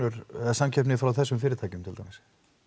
samkepni frá þessum fyrirtækjum til dæmis